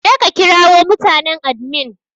Je ka ƙirawo mutanen adimin!